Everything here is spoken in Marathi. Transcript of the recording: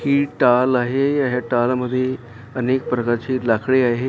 ही टाल आहे हे टाल मध्ये अनेक प्रकारची लाकडी आहे .